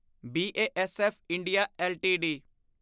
BASF India LTD